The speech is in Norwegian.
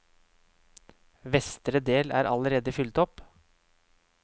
Vestre del er allerede fylt opp.